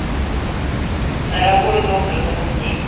дорогой доктор запусти